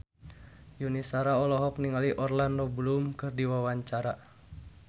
Yuni Shara olohok ningali Orlando Bloom keur diwawancara